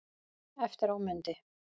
Eftir á mundi